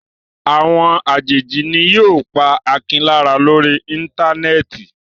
Àwọn àjèjì ni yóò pa Akin lára lórí Íńtánẹ́ẹ̀tì.